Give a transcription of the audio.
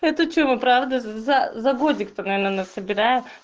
это че правда за годик наверно она собирает